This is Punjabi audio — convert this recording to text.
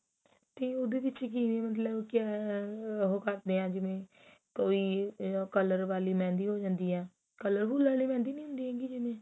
ਤੇ ਉਹਦੇ ਵਿੱਚ ਕਿਵੇਂ ਮਤਲਬ ਕਿਵੇਂ ਉਹ ਕਰਦੇ ਆ ਜਿਵੇਂ ਕੋਈ color ਵਾਲੀ mehendi ਹੋ ਜਾਂਦੀ ਹੈ colorful ਵਾਲੀ mehendi ਨੀ ਹੁੰਦੀ ਹੈਗੀ ਜਿਵੇਂ